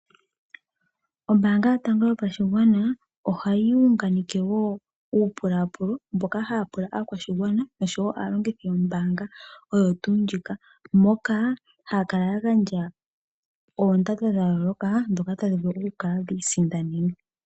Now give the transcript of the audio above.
Ombaanga yotango yopashigwana, ohayi unganeke wo uupulaapulo mboka haya pula aakwashigwana nosho wo aalongithi yombaanga oyo tuu ndjika moka haya kala ya gandja oondando dhayooloka dhoka tadhi vulu ku kala dhiisindanenwa.